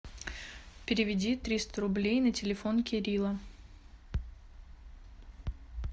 переведи триста рублей на телефон кирилла